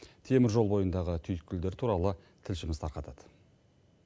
теміржол бойындағы түйіткілдер туралы тілшіміз тарқатады